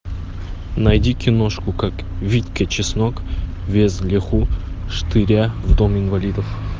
найди киношку как витька чеснок вез леху штыря в дом инвалидов